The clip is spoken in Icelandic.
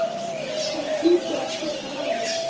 Það hlýtur að skipta máli?